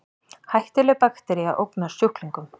Hættuleg baktería ógnar sjúklingum